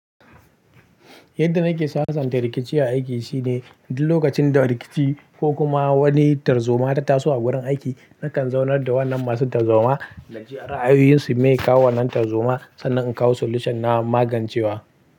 Yadda nake sa santa rikici a aiki shine duk lokacin da rikici ko kuma wani tarzoma da taso a wurin aiki, nakan zaunar da wannan masu tarzoma na jira ayoyinsu me ya kawo wannan tarzoma sannan in kawo solution na magancewa.